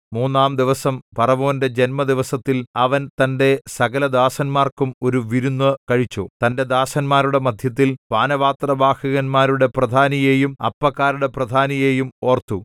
മൂന്നാംദിവസം ഫറവോന്റെ ജന്മദിവസത്തിൽ അവൻ തന്റെ സകലദാസന്മാർക്കും ഒരു വിരുന്നു കഴിച്ചു തന്റെ ദാസന്മാരുടെ മദ്ധ്യത്തിൽ പാനപാത്രവാഹകന്മാരുടെ പ്രധാനിയെയും അപ്പക്കാരുടെ പ്രധാനിയെയും ഓർത്തു